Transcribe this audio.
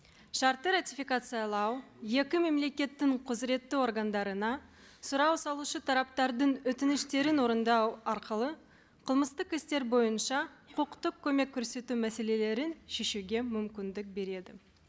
шартты ратификациялау екі мемлекеттің құзыретті органдарына сұрау салушы тараптардың өтініштерін орындау арқылы қылмыстық істер бойынша құқықтық көмек көрсету мәселелерін шешуге мүмкіндік береді